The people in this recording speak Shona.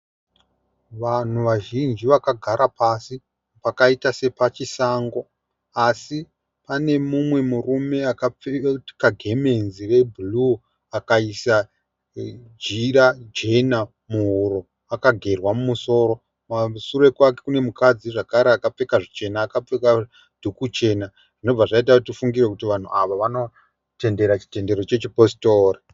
Vanhu vazhinji vakagara pasi pakaita sepachisango asi pane mumwe murume akapfeka gemenzi rebhuruu akaisa jira jena muhuro akagerwa musoro. Kumashure kwake kune mukadzi zvakare akapfeka zvichena akapfeka dhuku jena zvobva zvaita kuti tifungire vanhu ava vanoita zvechitendero chechiPositora.